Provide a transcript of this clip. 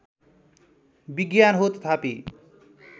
विज्ञान हो तथापि